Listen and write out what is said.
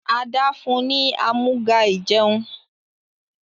Ada fún ní Amúga-ìjẹun.